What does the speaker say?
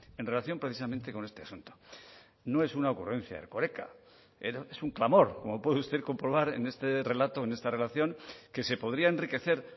en relación precisamente con este asunto no es una ocurrencia de erkoreka es un clamor como puede usted comprobar en este relato en esta relación que se podría enriquecer